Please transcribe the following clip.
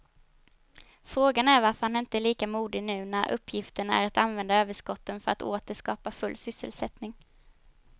Frågan är varför han inte är lika modig nu när uppgiften är att använda överskotten för att åter skapa full sysselsättning.